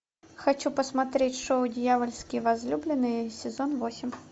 хочу посмотреть шоу дьявольские возлюбленные сезон восемь